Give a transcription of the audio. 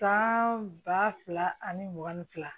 San ba fila ani mugan ni fila